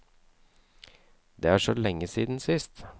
Det er så lenge siden sist.